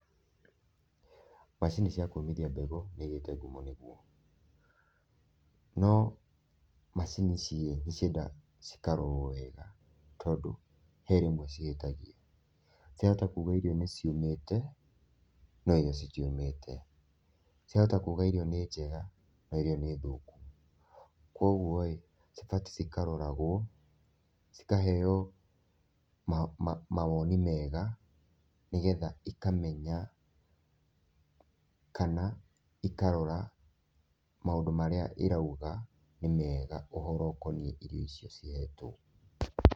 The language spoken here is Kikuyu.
Macini cia kũmithia mbegũ nĩ igĩte ngumo mũno, no macini ici-ĩ, nĩciendaga cikarorwo wega tondũ he rĩmwe cihĩtagia . Ciahota kuga irio nĩ ciũmĩte, no irio citiũmĩte, ciahota kuga irio nĩ njega, no irio nĩ thũku. Kũoguo-ĩ cibatiĩ cikaroragwo, cikaheo mawoni mega nĩgetha ikamenya kana ikarora maũndũ marĩa ĩrauga nĩ mega ũhoro ũkoniĩ irio icio cihetwo.